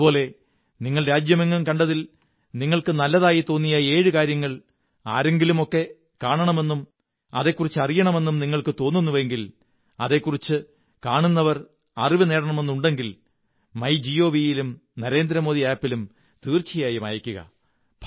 അതുപോലെ നിങ്ങൾ രാജ്യമെങ്ങും കണ്ടതിൽ നിങ്ങള്ക്ക്് നല്ലതായി തോന്നിയ ഏഴ് കാര്യങ്ങൾ ആരെങ്കിലുമൊക്കെ കാണണെന്നും അതെക്കുറിച്ചറിയണമെന്നും നിങ്ങള്ക്കുോ തോന്നുന്നുവെങ്കിൽ അതെക്കുറിച്ച് കാണുന്നവർ അറിവുനേടണമെന്നുണ്ടെങ്കിൽ മൈ ഗവി യിലും നരേന്ദ്രമോദി ആപ് ലും തീര്ച്ചുയായും അയയ്ക്കുക